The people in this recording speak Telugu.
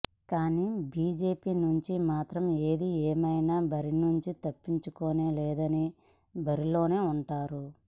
కాని బిజెపి నుంచి మాత్రం ఏది ఏమైన బరి నుంచి తప్పుకునేది లేదని బరిలోనే ఉన్నారు